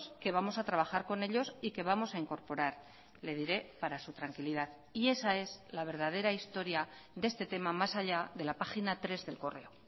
que vamos a trabajar con ellos y que vamos a incorporar le diré para su tranquilidad y esa es la verdadera historia de este tema más allá de la página tres de el correo